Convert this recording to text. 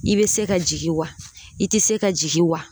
I bɛ se ka jigin wa i tɛ se ka jigin wa?